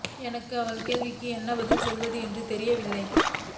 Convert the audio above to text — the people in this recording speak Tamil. எனக்கு அவள் கேள்விக்கு என்ன பதில் சொல்வது என்று தெரியவில்லை